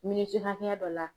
Miniti hakɛya dɔ la